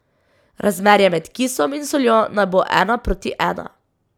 Razmerje med kisom in soljo naj bo ena proti ena.